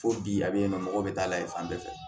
Fo bi a bɛ yɛlɛma mɔgɔw bɛ taa layɛ fan bɛɛ fɛ